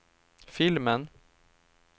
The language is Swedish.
filmen